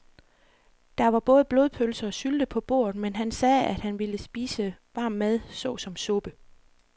Der var både blodpølse og sylte på bordet, men han sagde, at han bare ville spise varm mad såsom suppe.